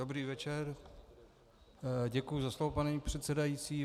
Dobrý večer, děkuji za slovo, paní předsedající.